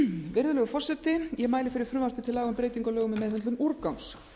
virðulegur forseti ég mæli fyrir frumvarpi til laga um breytingu á lögum um meðhöndlun úrgangs